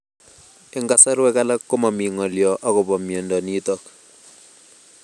Eng' kasarwek alak ko mami ng'olyo akopo miondo nitok